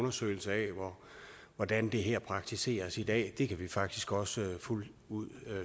undersøgelse af hvordan det her praktiseres i dag det kan vi faktisk også fuldt ud